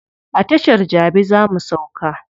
A tashar jabi za mu sauka.